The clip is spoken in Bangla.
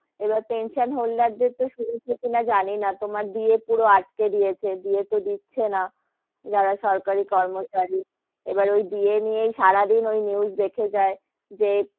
এবার pension holder দের তো শুনেছ কি না জানি না, তোমার DA পুরো আটকে দিয়েছে, DA তো দিচ্ছে না, যারা সরকারি কর্মচারী এবার ওই DA নিয়েই সারা দিন ওই news দেখে যাই যে,